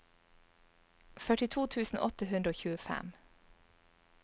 førtito tusen åtte hundre og tjuefem